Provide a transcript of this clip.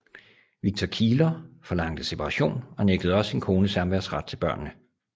Victor Kieler forlangte separation og nægtede også sin kone samværsret til børnene